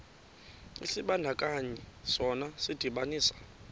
isibandakanyi sona sidibanisa